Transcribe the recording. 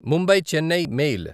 Mumbai Chennai mail